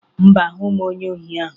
Mba, ahụghị m onye ohi ahụ